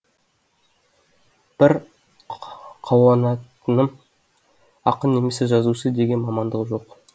бір қауанатыным ақын немесе жазушы деген мамандық жоқ